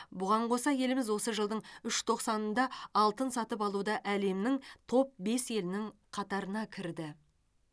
бұған қоса еліміз осы жылдың үш тоқсанында алтын сатып алуда әлемнің топ бес елінің қатарына кірді